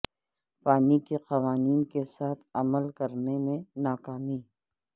پانی کے قوانین کے ساتھ عمل کرنے میں ناکامی